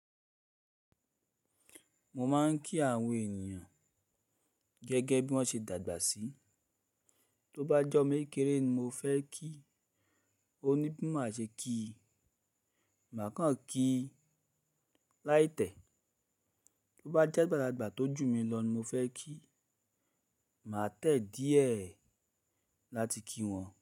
Mo máa ń kí àwọn ènìyàn gẹ́gẹ́ bí wọ́n ṣe dàgbà sí. Tó bá jẹ́ ọmọ kékeré ni mo fẹ́ kí, ó ní bí mo ṣe máa kí i. Màá kàn kí i láìtẹ̀. Tó bá jẹ́ àgbàlagbà tó jù mí lọ ni mo fẹ́ kí, màá tẹ̀ díẹ̀ láti kí wọn.